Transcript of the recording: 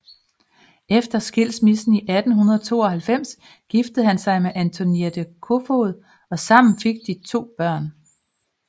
Efter skilsmissen i 1892 giftede han sig med Antoinette Kofoed og sammen fik de to børn